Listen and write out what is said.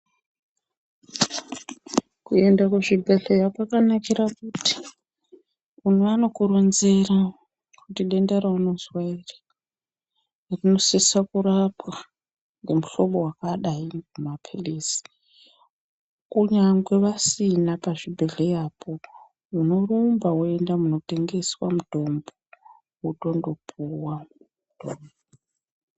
Kuenda kuzvibhedhleya kwakanakira kuti vanokuronzera kuti denda raunozwa iri rinosisa kurapwa ngomuhlobo wakadai ngemapirizi kunyangwe vasina pazvibhedhleyapo unorumba woenda munotengeswa mutombo wotondopuwa.